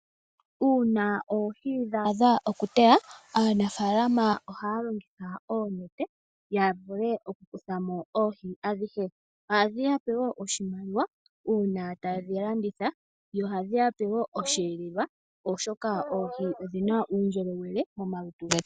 Uuna oohi dha adha oku yuulwa, aanafalama ohaya longitha oonete ya vule okukuthamo oohi adhihe. Ohadhi yape wo oshimaliwa uuna taye dhi landitha. Yo ohadhi yape wo iikulya, oshoka oohi odhina omaundjolowele momalutu getu.